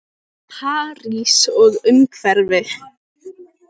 París og umhverfi.